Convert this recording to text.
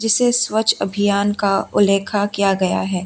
स्वच्छ अभियान का उल्लेखा किया गया है।